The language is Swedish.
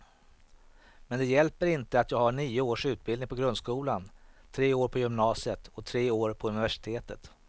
Men det hjälper inte att jag har nio års utbildning på grundskolan, tre år på gymnasiet och tre år på universitetet.